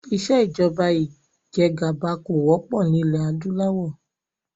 Ìsèjọba ìjẹgàba kò wọ́pọ̀ nilẹ adúláwọ̀